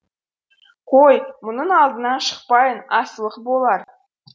қой мұның алдынан шықпайын асылық болар